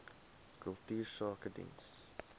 kultuursakedienste